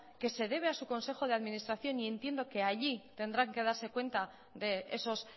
que se debe a su consejo de administración y entiendo que allí tendrán que darse cuenta de esos